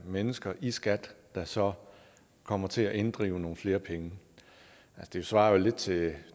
mennesker i skat der så kommer til at inddrive nogle flere penge det svarer vel lidt til